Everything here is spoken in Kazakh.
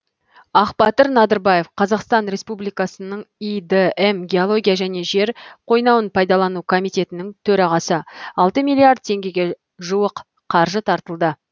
ақбатыр надырбаев қазақстан республикасының идм геология және жер қойнауын пайдалану комитетінің төрағасы алты миллиард теңгеге жуық қаржы тартылды